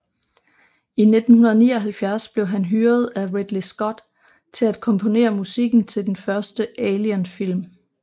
I 1979 blev han hyret af Ridley Scott til at komponere musikken til den første Alien film